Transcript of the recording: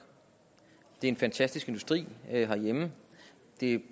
det er en fantastisk industri herhjemme det